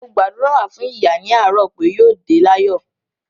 Mo gbàdúrà fún ìyá ní àárò pé yóò dé láyọ̀